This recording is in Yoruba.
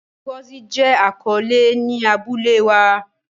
Ngozi jẹ akọle ni abule wa.